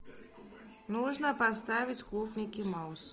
нужно поставить клуб микки мауса